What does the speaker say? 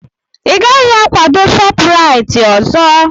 Ị gaghị akwado Shopuraiti ọzọ!